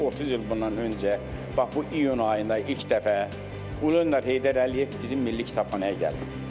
30 il bundan öncə, bax bu iyun ayında ilk dəfə Ulu Öndər Heydər Əliyev bizim Milli Kitabxanaya gəlib.